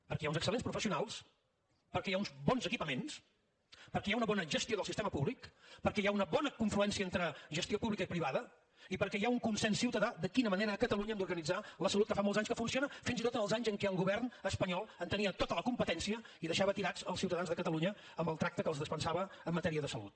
perquè hi ha uns excel·lents professionals perquè hi ha uns bons equipaments perquè hi ha una bona gestió del sistema públic perquè hi ha una bona confluència entre gestió pública i privada i perquè hi ha un consens ciutadà de quina manera a catalunya hem d’organitzar la salut que fa molts anys que funciona fins i tot en els anys en què el govern espanyol en tenia tota la competència i deixava tirats els ciutadans de catalunya amb el tracte que els dispensava en matèria de salut